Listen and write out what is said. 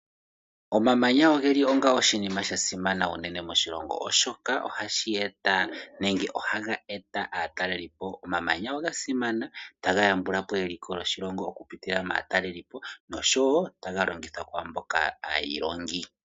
Omamanya ogeli onga oshinima oshinene sha simana unene moshilongo, oshoka ohashi eta, nenge ohaga eta aatalelipo. Omamanya oga simana oshoka ohaga yambulapo eliko lyoshilongo okupitila maatalelipo, noshowo taga longithwa kwaamboka aayilongi.